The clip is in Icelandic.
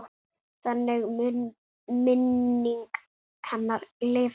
Þannig mun minning hennar lifa.